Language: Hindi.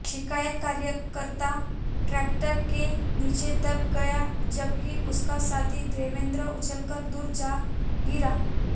शिकायतकर्ता टैंकर के नीचे दब गया जबकि उसका साथी देवेंद्र उछलकर दूर जा गिरा